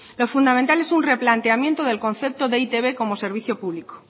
lo fundamental es un replanteamiento del concepto de e i te be como servicio público